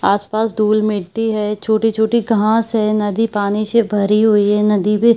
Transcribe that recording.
आस-पास धुल मिट्टी है छोटी-छोटी घांस है नदी पानी से भरी हुई है नदी पे--